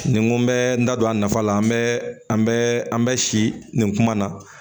Ni n ko n bɛ n da don a nafa la an bɛɛ an bɛ an bɛ si nin kuma na